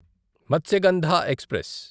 Matsyagandha express